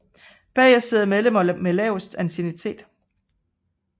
Bagest sidder medlemmer med lavest anciennitet